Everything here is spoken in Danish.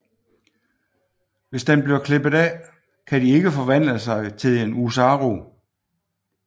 Hvis den bliver klippet af kan de ikke forvandle sig til en Oozaru